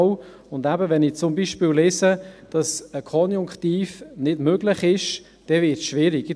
Wenn ich zum Beispiel lese, dass der Konjunktiv nicht möglich sei, dann wird es schwierig.